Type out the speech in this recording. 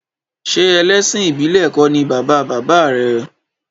Ṣé ẹlẹ́sìn ìbílẹ̀ kọ́ ni bàba bàbá rẹ̀?